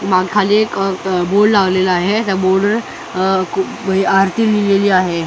मा खाली एक अ अ बोर्ड लावलेला आहे त्या बोर्डवर अ क आरती लिहिलेली आहे .]